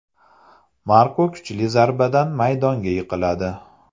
Marko kuchli zarbadan maydonga yiqiladi.